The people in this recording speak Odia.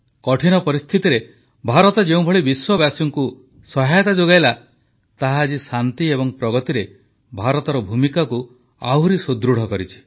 କଠିନ ପରିସ୍ଥିତିରେ ଭାରତ ଯେଉଁଭଳି ବିଶ୍ୱବାସୀଙ୍କୁ ସହାୟତା ଯୋଗାଇଲା ତାହା ଆଜି ଶାନ୍ତି ଏବଂ ପ୍ରଗତିରେ ଭାରତର ଭୂମିକାକୁ ଆହୁରି ସୁଦୃଢ଼ କରିଛି